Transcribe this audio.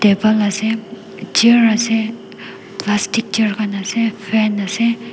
table ase chair ase plastic chair khan ase fan ase.